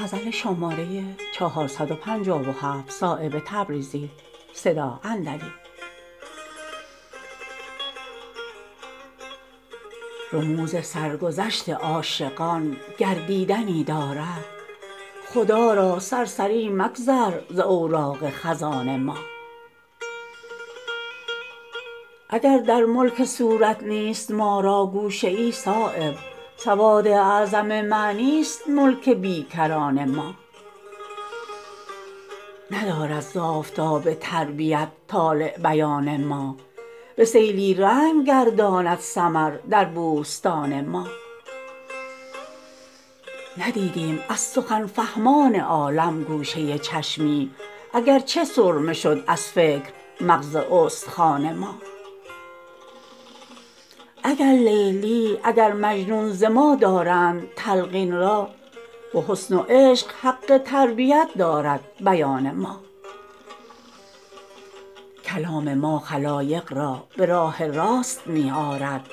رموز سرگذشت عاشقان گر دیدنی دارد خدا را سرسری مگذر ز اوراق خزان ما اگر در ملک صورت نیست ما را گوشه ای صایب سواد اعظم معنی است ملک بیکران ما ندارد زآفتاب تربیت طالع بیان ما به سیلی رنگ گرداند ثمر در بوستان ما ندیدیم از سخن فهمان عالم گوشه چشمی اگر چه سرمه شد از فکر مغز استخوان ما اگر لیلی اگر مجنون ز ما دارند تلقین را به حسن و عشق حق تربیت دارد بیان ما کلام ما خلایق را به راه راست می آرد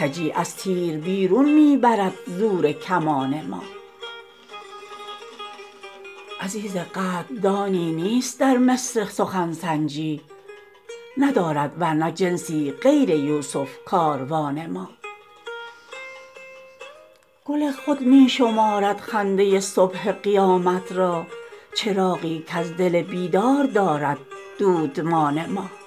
کجی از تیر بیرون می برد زور کمان ما عزیز قدردانی نیست در مصر سخن سنجی ندارد ورنه جنسی غیر یوسف کاروان ما گل خود می شمارد خنده صبح قیامت را چراغی کز دل بیدار دارد دودمان ما